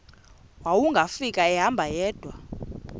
wawungafika ehamba yedwa